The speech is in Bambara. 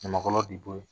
Ɲamakala de b'o ye